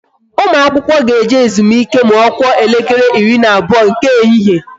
Ụmụ akwụkwọ ga-eje ezumike ma ọ kụọ elekere ịrị na abụọ nke ehihie